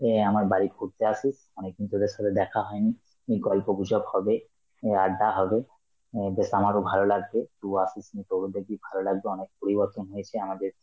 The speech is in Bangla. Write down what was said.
অ্যাঁ আমার বাড়ি ঘুরতে আসিস, অনেকদিন তোদের সাথে দেখা হয়নি, উম গল্পগুজব হবে, এ আড্ডা হবে, এ বেশ আমারও ভালো লাগবে, তুই আসিস তোরও দেখবি ভালো লাগবে, অনেক পরিবর্তন হয়েছে আমাদের